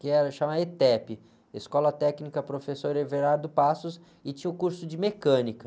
que era chamada êtépi, Escola Técnica Professor Everardo Passos, e tinha o curso de mecânica.